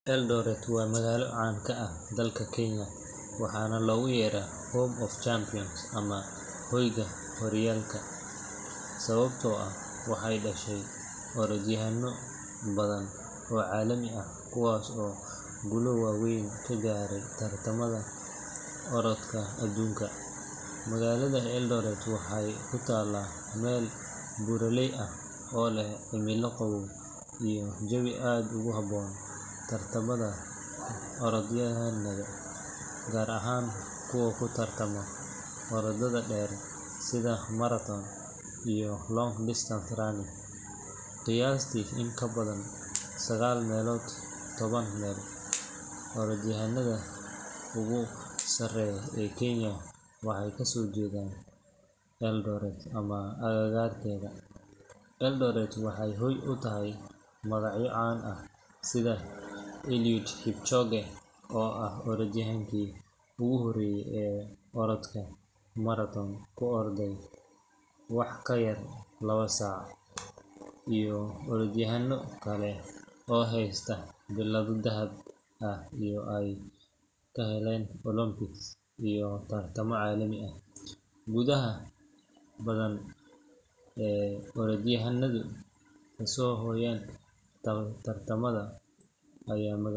Eldoret waa magaalo caan ka ah dalka Kenya, waxaana loogu yeeraa Home of Champions ama Hoyga Horyaalka sababtoo ah waxay dhashay orodyahanno badan oo caalami ah kuwaas oo guulo waaweyn ka gaaray tartamada orodka adduunka. Magaalada Eldoret waxay ku taallaa meel buuraley ah oo leh cimilo qabow iyo jawi aad ugu habboon tababarka orodyahannada, gaar ahaan kuwa ku tartama orodada dheer sida marathon iyo long-distance running. Qiyaastii in ka badan sagaal meelood toban meel orodyahannada ugu sarreeya ee Kenya waxay kasoo jeedaan Eldoret ama agagaarkeeda. Eldoret waxay hoy u tahay magacyo caan ah sida Eliud Kipchoge oo ah orodyahankii ugu horreeyay ee orodka marathon ku orda wax ka yar laba saac, iyo orodyahanno kale oo heysta billado dahab ah oo ay ka heleen Olympics iyo tartamo caalami ah. Guulaha badan ee orodyahannadu kasoo hoyaan tartamada ayaa magaalada.